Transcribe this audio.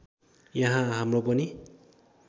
यहाँ हाम्रो पनि